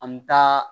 An bɛ taa